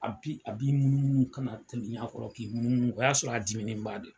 A b'i munu munu ka na tɛmɛ i kɔrɔ, k'i munu munu o y'a sɔrɔ diminenba de don.